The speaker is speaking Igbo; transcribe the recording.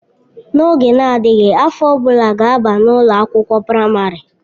N'oge na-adịghị, afọ ọ bụla ga-aba na ụlọ akwụkwọ praịmarị.